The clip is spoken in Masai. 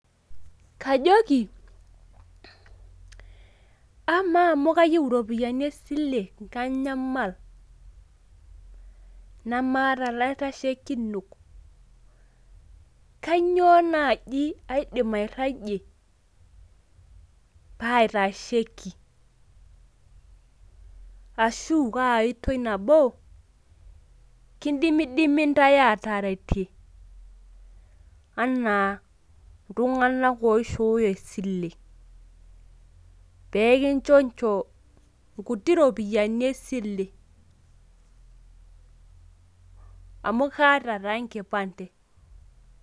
Kajoki amaa amu kayieu iropiyiani esile kanyamal, nemaata ilaitashekinok,. Kainyioo naaji aidim airajie paaitaesheki ashu kaa oitoi nabo kidimidimi intae aataretie enaa iltung`anak oishooyo esile. Pee kinchoncho nkuti ropiyiani esile amu kaata taa enkipande.